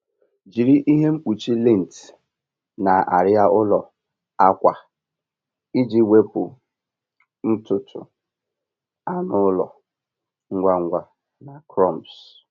Jiri ihe mkpuchi lint na arịa ụlọ akwa iji wepụ ntutu anụ ụlọ ngwa ngwa na crumbs.